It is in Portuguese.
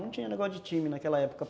Não tinha negócio de time naquela época.